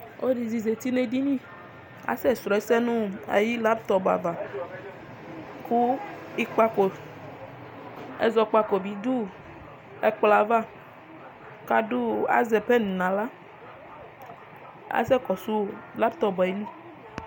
Ɔlɔ dɩ zati nɛ edini, asɛ srɔ ɛsɛ nʋ ayʋ latɔp ava kʋ ɩkpakɔ, ɛzɔkpako bɩ dʋ ɛkplɔ avaK adʋ azɛ pɛn naɣla Asɛ kɔsʋ latɔp ayi li